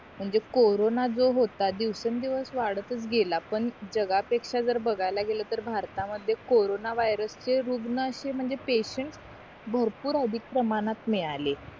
म्हणजे कॉरोन जो होता दिवसं दिवस वादातच गेला पण जागा पेक्षा जर बघायला गेल तर भारत मध्ये कॉरोन वायर्स चे रुग्ण अशे म्हणजे पैशेंट